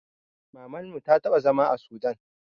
Mamanmu ta taɓa zama a sudan